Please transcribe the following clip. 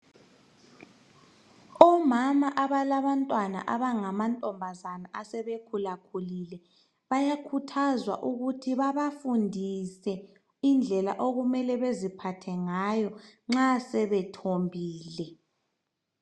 Omama abalabantwana asebangama ntombazana asebekhulakhulile bayakhuthazwa ukuthi babafundise indlela okumele beziphathe ngayo nxa sebethombile.